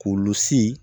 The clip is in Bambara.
K'olu sin